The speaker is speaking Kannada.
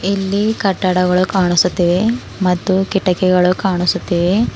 ಇಲ್ಲಿ ಕಟ್ಟಡಗಳು ಕಾಣಿಸುತ್ತಿವೆ ಮತ್ತು ಕಿಟಕಿಗಳು ಕಾಣಿಸುತ್ತಿವೆ.